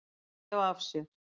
Að gefa af sér.